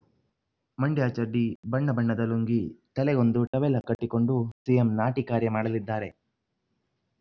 ಮಂಡ್ಯ ಚಡ್ಡಿ ಬಣ್ಣಬಣ್ಣದ ಲುಂಗಿ ತಲೆಗೊಂದು ಟವೆಲ ಕಟ್ಟಿಕೊಂಡು ಸಿಎಂ ನಾಟಿ ಕಾರ್ಯ ಮಾಡಲಿದ್ದಾರೆ